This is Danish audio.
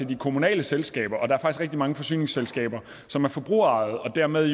de kommunale selskaber og der er rigtig mange forsyningsselskaber som er forbrugerejede og dermed er